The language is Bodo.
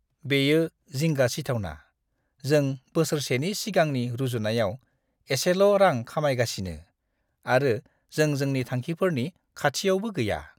बेयो जिंगा सिथावना! जों बोसोरसेनि सिगांनि रुजुनायाव एसेल' रां खामायगासिनो, आरो जों जोंनि थांखिफोरनि खाथियावबो गैया!